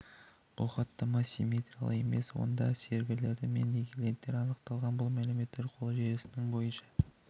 бұл хаттама симметриялы емес онда серверлері мен клиенттері анықталған бұл мәлімет қоры желісінің бойынша